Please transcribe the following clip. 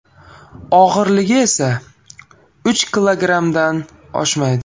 Og‘irligi esa uch kilogrammdan oshmaydi.